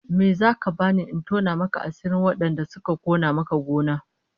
Me zaka bani in tona maka asirin wadanda suka kona maka gona?